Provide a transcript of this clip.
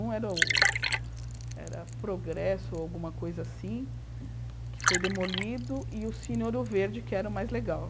Um era o era o Progresso, ou alguma coisa assim, que foi demolido, e o Cine Ouro Verde, que era o mais legal.